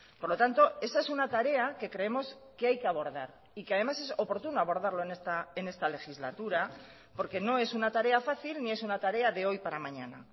por lo tanto esa es una tarea que creemos que hay que abordar y que además es oportuno abordarlo en esta legislatura porque no es una tarea fácil ni es una tarea de hoy para mañana